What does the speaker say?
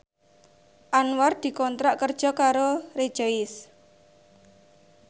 Anwar dikontrak kerja karo Rejoice